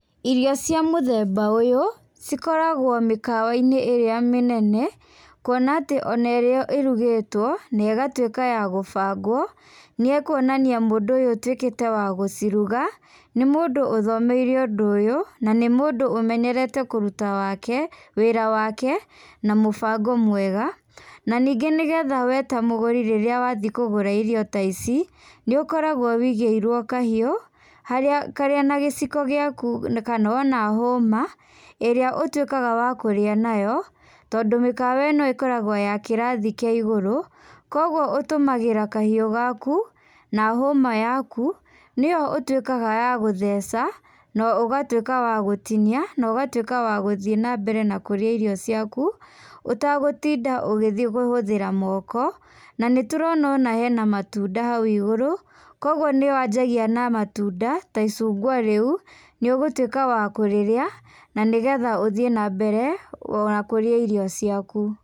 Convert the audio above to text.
Irio cia mũthemba ũyũ, cikoragwo mĩkawa-inĩ ĩrĩa mĩnene, kũona atĩ o na ũrĩa ĩrugĩtwo nĩ ĩgatuĩka ya gũbangwo, nĩ kũonania mũndũ ũyũ ũtuĩkĩte wa gũciruga nĩ mũndũ ũthomeire ũndũ ũyũ na nĩ mũndũ ũmenyerete kũruta wake, wĩra wake, na mũbango mwega. Na ningĩ nĩgetha we ta mũgũri rĩrĩa wathiĩ kũgũra irio ta ici, nĩ ũkoragwo wigĩirwo kahiũ, harĩa karĩ o na gĩciko gĩaku, kana o na hũma, ĩrĩa ũtuĩkaga wa kũrĩa nayo tondũ, mĩkawa ĩno ĩkoragwo ya kĩrathi kĩa igũrũ. Koguo, ũtũmagĩra kahiũ gaku na hũma yaku, nĩyo ũtuĩkaga ya gũtheca, na ũgatuĩka wa gũtinia, na ũgatuĩka wa gũthiĩ na mbere na kũrĩa irio ciaku ũtagũtinda ũgĩthiĩ gũhũthĩra moko. Na nĩ tũrona o na hena matunda hau igurũ. Koguo, nĩ wanjagia na matunda ta icungwa rĩu, nĩ ũgũtuĩka wa kũrĩrĩa na nĩgetha ũthiĩ na mbere na kũrĩa irio ciaku.